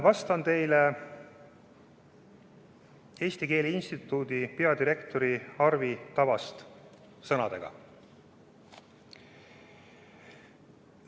Vastan teile Eesti Keele Instituudi peadirektori Arvi Tavasti sõnadega.